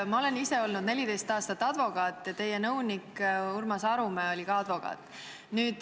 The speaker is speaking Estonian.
Ma olen ise olnud 14 aastat advokaat ja teie nõunik Urmas Arumäe oli ka advokaat.